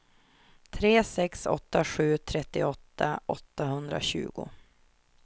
tre sex åtta sju trettioåtta åttahundratjugo